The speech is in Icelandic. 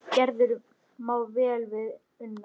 Gerður má vel við una.